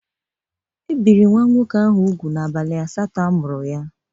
E biri nwa nwoke ahụ ubụ n'abalị asatọ a mụrụ ya.